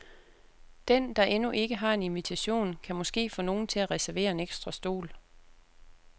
Den, der endnu ikke har en invitation, kan måske få nogen til at reservere en ekstra stol.